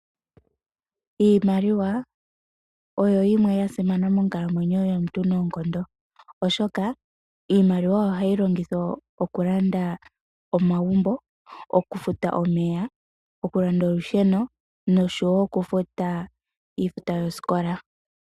Iimaliwa oya simana monkalamwenyo yomuntu oshoka ohayi longithwa okulanda omagumbo, okufuta omeya, okufuta olusheno noshowo okufuta iifuta yosikola.